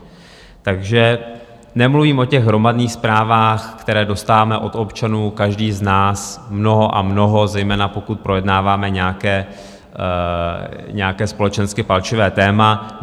Takže nemluvím o těch hromadných zprávách, kterých dostáváme od občanů každý z nás mnoho a mnoho, zejména pokud projednáváme nějaké společensky palčivé téma.